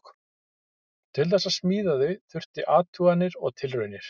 Til þess að smíða þau þurfti athuganir og tilraunir.